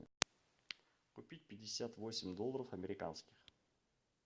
купить пятьдесят восемь долларов американских